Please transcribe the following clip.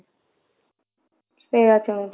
ସେଇଆ ଚାହୁଁଛି